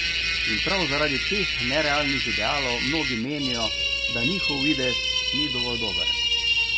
In prav zaradi teh nerealnih idealov mnogi menijo, da njihov videz ni dovolj dober.